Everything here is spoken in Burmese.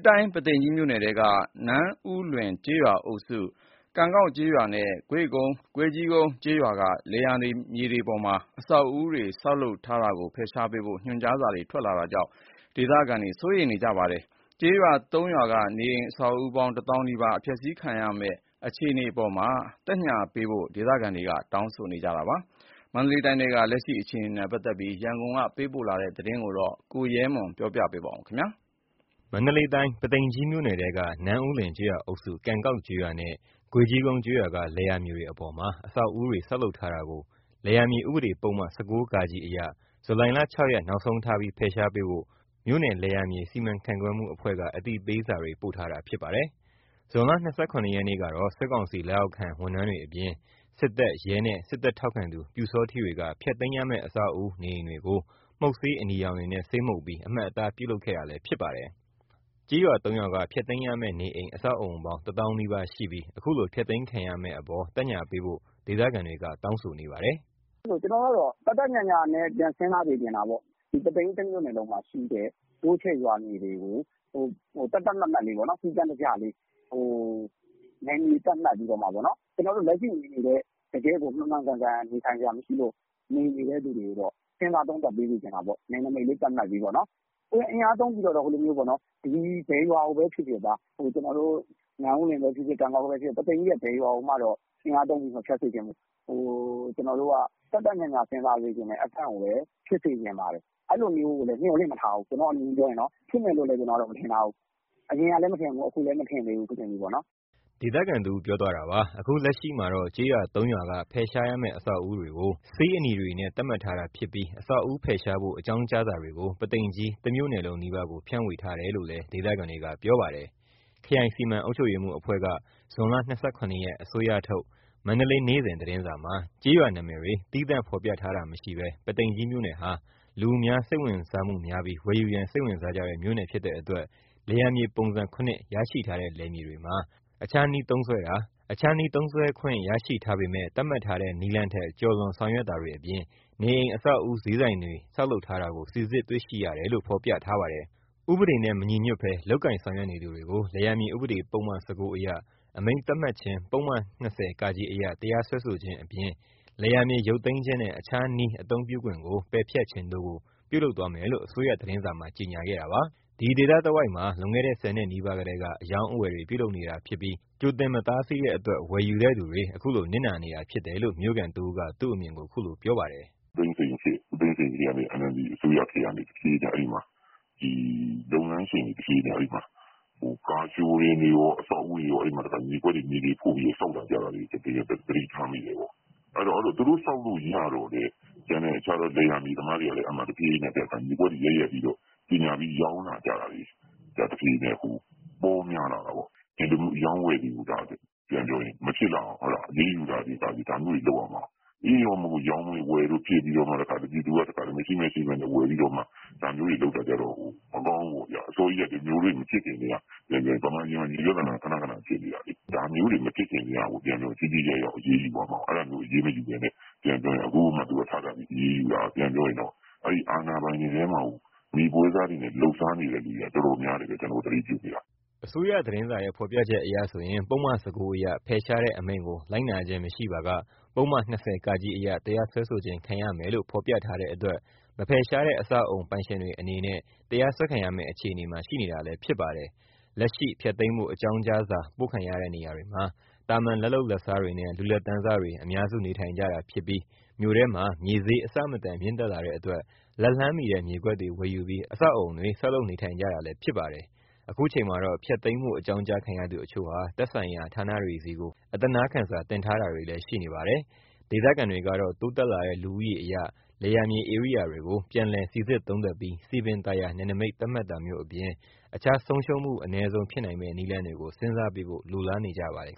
တိုင်း ပုသိမ်ကြီးမြို့နယ်ထဲက နန်းဦးလွင် ကျေးရွာအုပ်စု၊ ကန်ကောက်ကျေးရွာနဲ့ ဂွေ့ကြီးကုန်းကျေးရွာက လယ်ယာမြေတွေမှာ အဆောက်အဦးတွေ ဆောက်လုပ်ထားတာကို ဖယ်ရှားပေးဖို့ ညွှန်ကြားစာတွေ ထွက်လာတာကြောင့် ဒေသခံတွေ စိုးရိမ်နေကြပါတယ်။ ကျေးရွာ ၃ ရွာက နေအိမ် အဆောက်အဦးပေါင်း ၁ သောင်းနီးပါး အဖျက်ဆီးခံရမယ့်အပေါ် သက်ညှာပေးဖို့လည်း ဒေသခံတွေက တောင်းဆိုနေကြပါတယ်။ မန္တလေးတိုင်းထဲက လက်ရှိဖြစ်ပေါ်နေတဲ့ အခြေနေတွေနဲ့ပတ်သက်ပြီး ရန်ကုန်က သတင်းပေးပို့ ထားတာကို ကိုရဲမွန်က ပြောပြပါမယ်။ မန္တလေးတိုင်း ပုသိမ်ကြီးမြို့နယ်ထဲက နန်းဦးလွင် ကျေးရွာအုပ်စု၊ ကန်ကောက်ကျေးရွာနဲ့ ဂွေ့ကြီးကုန်းကျေးရွာက လယ်ယာမြေတွေအပေါ်မှာ အဆောက်အဦးတွေ ဆောက်လုပ်ထားတာကို လယ်ယာမြေဥပဒေ ပုဒ်မ - ၁၉ (ဃ)အရ ဇူလိုင် ၆ ရက် နောက်ဆုံးထား ဖယ်ရှားပေးဖို့ မြို့နယ်လယ်ယာမြေ စီမံခန့်ခွဲမှုအဖွဲ့က အသိပေးစာတွေ ပို့ထားတာ ဖြစ်ပါတယ်။ ဇွန်လ ၂၇ ရက်နေ့ကတော့ စစ်ကောင်စီလက်အောက်ခံ ဝန်ထမ်းတွေအပြင် စစ်တပ်ရဲနဲ့ စစ်တပ်ထောက်ခံသူ ပျူစောထီးတွေက ဖျက်သိမ်းရမယ့် အဆောက်အဦး နေအိမ်တွေကို မှုတ်ဆေးအနီရောင်တွေနဲ့ ဆေးမှုတ်ပြီး အမှတ်အသား ပြုလုပ်ခဲ့တာလည်း ဖြစ်ပါတယ်။ ကျေးရွာ ၃ ရွာက ဖျက်သိမ်းရမယ့်နေအိမ် အဆောက်အဦးပေါင်း ၁ သောင်းနီးပါးရှိပြီး အခုလို ဖျက်သိမ်းခံရမယ့်အပေါ် သက်ညှာပေးဖို့ ဒေသခံတွေက တောင်းဆိုနေပါတယ်။ “ကျွန်တော်ကတော့ သက်သက်ညှာညှာနဲ့ ပြန်စဉ်းစား စေချင်တာပေါ့နော်။ ပုသိမ်ကြီးတမြို့နယ်လုံးမှာရှိတဲ့ တိုးချဲ့ရွာမြေတွေကို သတ်သတ်မှတ်မှတ် စည်းကမ်းတကျလေး နယ်မြေသတ်မှတ်ပြီးတော့မှပေါ့နော်။ ကျွန်တော်တို့ လက်ရှိလည်း တကယ့်ကို မှန်မှန်ကန်ကန် နေထိုင်စရာ မရှိလို့ နေနေတဲ့သူတွေပေါ့။ စဉ်းစား သုံးသပ်ပေးစေချင်တာပေါ့။ နယ်နိမိတ် သတ်မှတ်ပြီးတော့ပေါ့နော်။ အင်အားသုံးပြီးတော့ ဘယ်ရွာကိုပဲဖြစ်ဖြစ် နန်းဦးလွင်ပဲဖြစ်ဖြစ် ကန်ကောက်ပဲဖြစ်ဖြစ် ပုသိမ်ကြီးရဲ့ ဘယ်ရွာကိုမှ အင်အားသုံးပြီး မဖျက်စေချင်ဘူး။ သက်သက်ညှာညှာ စဉ်းစားစေချင်တဲ့ အကန့်ကိုပဲ စဉ်းစားစေချင်ပါတယ်။ အဲ့လိုမျိုး မျှော်လင့်မထားဘူး။ ဖြစ်မယ်လို့လည်း မထင်ထားဘူး။ အရင်ကလည်း မထင်ဘူး အခုလည်းမထင်ဘူး။” ဒေသခံတဦးက ပြောသွားတာပါ။ အခုလက်ရှိမှာတော့ ကျေးရွာ ၃ ရွာက ဖယ်ရှားရမယ့်် အဆောက်အဦးတွေကို ဆေးအနီမှုတ် သတ်မှတ်လိုက်တာဖြစ်ပြီး အဆောက်အဦးဖယ်ရှားဖို့ အကြောင်းကြားစာတွေကိုတော့ ပုသိမ်ကြီး တမြို့နယ်လုံး နီးပါးကို ဖြန့်ဝေထားတယ်လို့လည်း ဒေသခံတွေက ပြောပါတယ်။ ခရိုင်စီမံအုပ်ချုပ်ရေးအဖွဲ့က ဇွန် ၂၇ ရက် - အစိုးရထုတ် မန္တလေးနေ့စဉ်သတင်းစာမှာ ကျေးရွာ နာမည်တွေ သီးသန့်ဖော်ပြထားတာမရှိဘဲ ပုသိမ်ကြီးမြို့နယ်ဟာ လူအများ စိတ်ဝင်စားမှုများပြီး ဝယ်ယူရန် စိတ်ဝင်စားကြတဲ့ မြို့နယ်ဖြစ်တဲ့အတွက် လယ်ယာမြေပုံစံ ၇ ရရှိထားတဲ့ လယ်မြေတွေမှာ အခြားနည်းနဲ့ သုံးစွဲတာ၊ အခြားနည်းသုံးစွဲခွင့် ရရှိထားပေမယ့် သတ်မှတ်ထားတဲ့ နည်းလမ်းထက် ကျော်လွန် ဆောင်ရွက်တာတွေအပြင် နေအိမ်အဆောက်အဦး ဈေးဆိုင်တွေ ဆောက်လုပ်ထားတာကို စီစစ်တွေ့ရှိရတယ်လို့ ဖော်ပြထားပါတယ်။ ဥပဒေနဲ့မညီညွတ်ဘဲ လုပ်ကိုင်ဆောင်ရွက်နေသူတွေကို လယ်ယာမြေ ဥပဒေပုဒ်မ ၁၉ အရ အမိန့်သတ်မှတ်ခြင်း ၊ ပုဒ်မ -၂၀(က)အရ တရားစွဲဆိုခြင်းအပြင် လယ်ယာမြေ ရုပ်သိမ်းခြင်းနဲ့ အခြားနည်း အသုံးပြုခွင့် ပယ်ဖျက်ခြင်းတို့ကို ပြုလုပ်သွားမယ်လို့ အစိုးရသတင်းစာမှာ ကြေငြာခဲ့တာပါ။ ဒီဒေသတဝိုက်မှာ လွန်ခဲ့တဲ့ ၁၀ နှစ်နီးပါးကတည်းက အရောင်းအဝယ်တွေ ပြုလုပ်နေတာဖြစ်ပြီး ကြိုတင် မတားဆီးခဲ့တဲ့အတွက် ဝယ်ယူတဲ့သူတွေ အခုလို နစ်နာနေတာဖြစ်တယ်လို့ မြို့ခံတဦးက သူ့အမြင်ကို အခုလို ပြောပါတယ်။ “ဦးသိန်းစိန်ခေတ်၊ NLD အစိုးရခေတ်ကနေ အဲ့မှာ လုပ်ငန်းရှင်တွေ ကားပြခန်းတွေကော အဆောက်အဦးတွေကော မြေကွက်တွေ မြေတွေဖို့ပြီး ဆောက်လာကြတာာတွေ သတိထားမိတယ်ပေါ့။ သူတို့ ဆောက်လို့ရတော့လည်း အဲ့မှာ လယ်ယာမြေသမားတွေက တဖြေးဖြေးနဲ့ မြေကွက်တွေရိုက်ပြီး ကြေငြာပြီး ရောင်းလာကြတာတွေ တဖြေးဖြေးနဲ့ ပေါများ လာတာပေါ့။ ဒီလို အရောင်းအဝယ်တွေ မဖြစ်လာအောင် အရေးယူတာတွေ ဒါမျိုးတွေ လုပ်ရမှာ။ ရောင်းလို့ဝယ်လို့ဖြစ်ပြီးမှ ပြည်သူက မရှိမဲ့ရှိမဲ့နဲ့ ဝယ်ပြီးတော့မှ ဒါမျိုးတေွ လုပ်လာကြတော့ မကောင်းဘူးပေါ့ဗျာ။ ဒါမျိုးတွေအစောကြီးကတည်းက မြန်မာပြည်မှာ မြေပြဿနာ ခဏခဏ ဖြစ်နေတာလေ။ ဒါမျိုးတွေ မဖြစ်ခင်ကတည်းက ထိထိရောက်ရောက် အရေးယူရမှာ အဲ့ဒါမျိုး အရေးမယူဘဲ အခုမှထပြီး အရေးယူတာက ပြန်ပြောရင် အဲ့ အာဏာပိုင်တွေထဲမှာ မြေပွဲစားတွေနဲ့ လုပ်စားနေတာ တော်တော်များရှိတယ်။ ကျွန်တော်တို့ သတိပြုမိတာ။” အစိုးရသတင်းစာရဲ့ ဖော်ပြချက်အရဆိုရင် ပုဒ်မ ၁၉ အရ ဖယ်ရှားတဲ့အမိန့်ကို လိုက်နာခြင်း မရှိပါက ပုဒ်မ ၂၀(က) အရ တရားစွဲဆိုခြင်း ခံရမယ်လို့ ဖော်ပြထားတဲ့အတွက် မဖယ်ရှားတဲ့ အဆောက်အဦး ပိုင်ရှင်တွေအနေနဲ့ တရားစွဲခံရမယ့်အခြေအနေမှာ ရှိနေတာလည်း ဖြစ်ပါတယ်။ လက်ရှိ ဖျက်သိမ်းဖို့ အကြောင်းကြားစာ ပို့ခံရတဲ့နေရာတွေမှာ သာမန် လက်လုပ်လက်စားတွေနဲ့ လူလတ်တန်းစားတွေ အများစုနေထိုင်ကြတာဖြစ်ပြီး မြို့ထဲမှာ မြေဈေး အဆမတန် မြင့်တက်လာတဲ့အတွက် လက်လှမ်းမှီတဲ့ မြေကွက်တွေကို ဝယ်ယူပြီး အဆောက်အဦး ဆောက်လုပ်နေထိုင်နေကြတာလည်း ဖြစ်ပါတယ်။ အခုချိန်မှာတော့ ဖျက်သိမ်းဖို့ အကြောင်းကြားခံရသူအချို့ဟာ သက်ဆိုင်ရာ ဌာနတွေဆီကို အသနားခံစာ တင်ထားတာတွေလည်း ရှိနေပါတယ်။ ဒေသခံတွေကတော့ တိုးတက်လာတဲ့ လူဦးရေအရ လယ်ယာမြေဧရိယာတွေကို ပြန်လည်စီစစ် သုံးသပ်ပြီး စည်ပင်သာယာ နယ်နိမိတ် သတ်မှတ်တာမျိုးအပြင် အခြားဆုံးရှုံးမှု အနည်းဆုံး ဖြစ်နိုင်မယ့် နည်းလမ်းတွေကို စဉ်းစားပေးဖို့ လိုလားနေကြပါတယ်